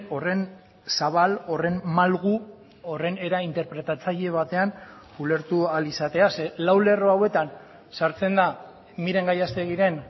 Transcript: horren zabal horren malgu horren era interpretatzaile batean ulertu ahal izatea zeren lau lerro hauetan sartzen da miren gallasteguiren